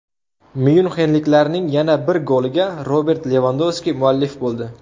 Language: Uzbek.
Myunxenliklarning yana bir goliga Robert Levandovski muallif bo‘ldi.